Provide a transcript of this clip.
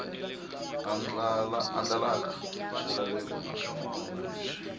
andlalaka swilaveko na swinawana leswi